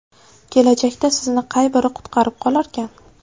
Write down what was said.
Kelajakda sizni qay biri qutqarib qolarkan?